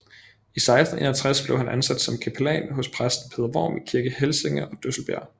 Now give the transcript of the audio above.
I 1661 blev han ansat som kapellan hos præsten Peder Worm i Kirke Helsinge og Drøsselbjerg